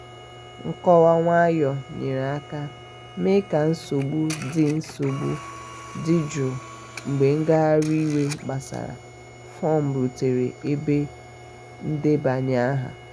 nkọwa nwayọọ nyere aka mee ka nsogbu dị nsogbu dị jụụ mgbe ngagharị iwe gbasara fọm rutere ebe ndebanye aha.